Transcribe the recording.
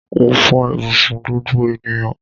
Mó fò ibùsùn gbogbo ènìyàn